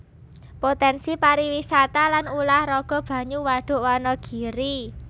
Potènsi pariwisata lan ulah raga banyu Wadhuk Wanagiri